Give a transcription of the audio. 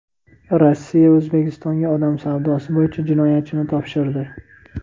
Rossiya O‘zbekistonga odam savdosi bo‘yicha jinoyatchini topshirdi.